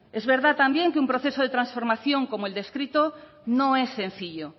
es verdad también que un proceso de transformación como el descrito no es sencillo